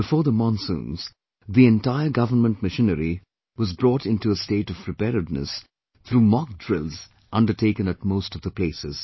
Before the monsoons, the entire government machinery was brought into a state of preparedness through mock drills undertaken at most of the places